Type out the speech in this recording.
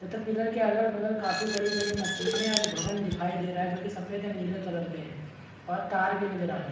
तथा पिलर के अगल-बगल काफी बड़ी-बड़ी मशीने और भवन दिखाई दे रहा हैं जो की सफ़ेद एंड नीले कलर के है और तार भी नज़र आ रहे है।